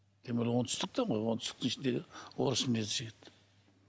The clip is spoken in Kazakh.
тем более оңтүстікте ғой оңтүстіктің ішіндегі орыс мінезді жігіт